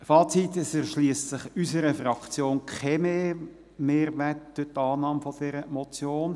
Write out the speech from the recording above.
Fazit: Es erschliesst sich für unsere Fraktion keinen Mehrwert durch die Annahme der Motion;